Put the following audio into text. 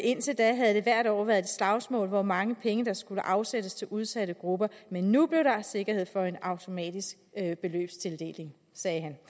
indtil da havde det hvert år været et slagsmål hvor mange penge der skulle afsættes til udsatte grupper men nu blev der sikkerhed for en automatisk beløbstildeling sagde han